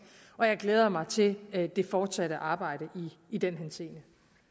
og jeg glæder mig til det det fortsatte arbejde i den henseende